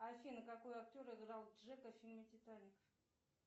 афина какой актер играл джека в фильме титаник